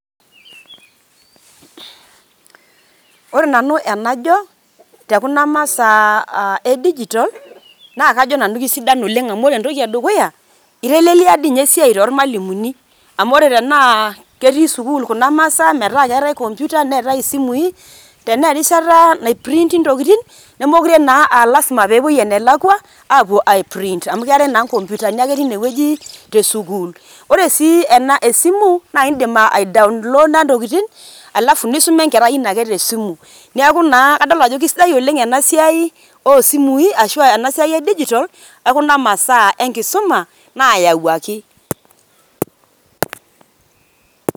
Ore nanu enajo te kuna masaa e digital naa kajo nanu keisidan oleng amu ore entoki e dukuya. Eitelelia dii ninye esiai too ilmalimuni, amu ore tenaa ketii sukuul kuna masaa metaa keetae computer neetai isimui. Tenaa erishata naiprinti ntokitin nemookure naa aa lazima pee epuoi ene lakwa apuo ai print amu keetae naake nkomputani teine wueji te sukuul. Ore sii ena esimu naa idim ai download aa ntokitin alafu nisuma naake enkerai ino ake te simu. Niaku naa kadol ajo oleng ena siai oo simui ashu ena siai e digital o kuna masaa e nkisuma naayawuaki.